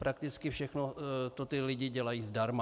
Prakticky všechno to ti lidé dělají zdarma.